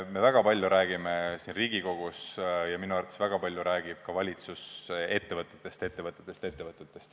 Me väga palju räägime siin Riigikogus – ja minu arvates väga palju räägib ka valitsus – ettevõtetest, ettevõtetest, ettevõtetest.